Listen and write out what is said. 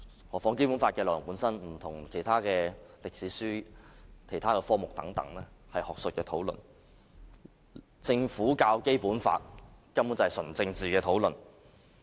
何況《基本法》的內容本身有別於其他歷史書和科目等學術討論，政府教《基本法》根本是純政治的討論。